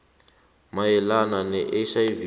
mayelana ne hiv